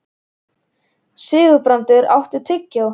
Sigurbrandur, áttu tyggjó?